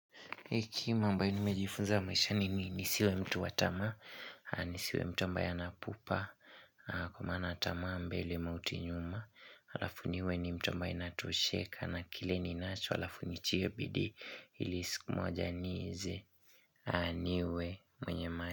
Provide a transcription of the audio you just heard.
Hekima ambaye nimejifunza maishani ni nisiwe mtu wa tamaa, nisiwe mtu ambaye ana pupa, kwa maana tamaa mbele mauti nyuma, alafu niwe ni mtu ambaye natosheka na kile ninacho alafu nitie bidii ili siku moja nize, niwe mwenye maisha.